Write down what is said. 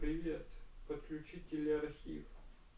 привет подключи телеархив